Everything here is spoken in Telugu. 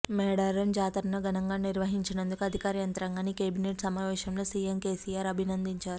మేడారం జాతరను ఘనంగా నిర్వహించినందుకు అధికార యంత్రాంగాన్ని కేబినెట్ సమావేశంలో సీఎం కేసీఆర్ అభినందించారు